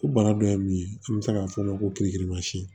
Ko bana dɔ ye mun ye an bɛ se k'a fɔ ma ko kirikirimasiyɛn